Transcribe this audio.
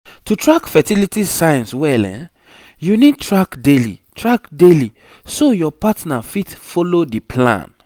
to track fertility signs well you need track daily track daily so your partner fit follow the plan